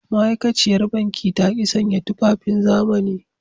Ma’aikaciyar banki ta ki sanya tufafin zamani.